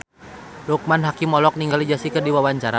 Loekman Hakim olohok ningali Jessie J keur diwawancara